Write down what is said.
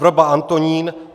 Vrba Antonín